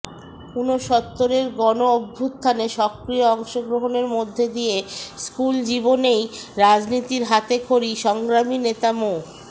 উনসত্তরের গণ অভ্যুথানে সক্রিয় অংশগ্রহণের মধ্য দিয়ে স্কুল জীবনেই রাজনীতির হাতে খড়ি সংগ্রামী নেতা মো